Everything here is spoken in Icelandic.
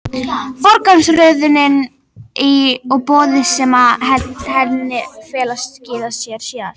Forgangsröðunin og boðin sem í henni felast skila sér síðar.